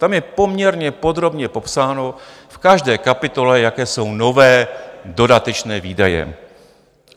Tam je poměrně podrobně popsáno v každé kapitole, jaké jsou nové dodatečné výdaje.